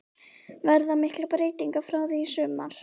Verða miklar breytingar frá því í sumar?